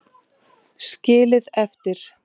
Skilið eftir?